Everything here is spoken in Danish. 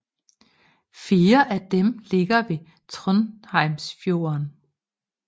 Fire af dem ligger ved Trondheimsfjorden